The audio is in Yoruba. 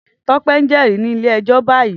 Tope n jèrí ni ilé èjò bàyí